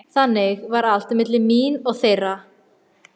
Þannig var allt milli mín og þeirra.